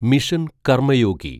mission Karmayogi